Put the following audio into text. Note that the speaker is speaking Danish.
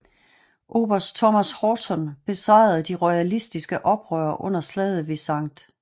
Oberst Thomas Horton besejrede de royalistiske oprørere under slaget ved St